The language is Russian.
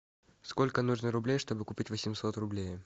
сколько нужно рублей чтобы купить восемьсот рублей